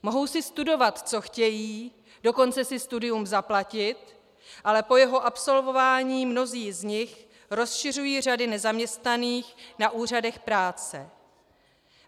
Mohou si studovat, co chtějí, dokonce si studium zaplatit, ale po jeho absolvování mnozí z nich rozšiřují řady nezaměstnaných na úřadech práce.